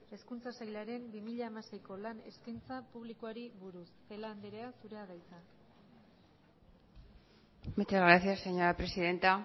hezkuntza sailaren bi mila hamaseiko lan eskaintza publikoari buruz celaá andrea zurea da hitza muchas gracias señora presidenta